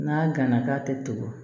N'a ganna k'a tɛ to